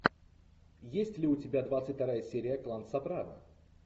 есть ли у тебя двадцать вторая серия клан сопрано